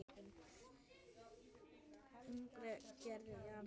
Innri gerð jarðar